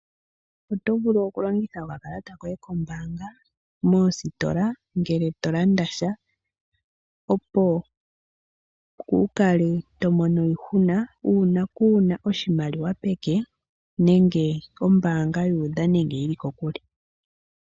Oto vulu okulongitha okakalata koye kombaanga moositola ngele to landa sha. Opo kuukale to mono iihuna uuna kuuna oshimaliwa peke, nenge ombaanga yu udha nenge yili kokule.